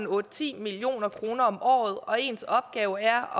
otte ti million kroner om året og ens opgave er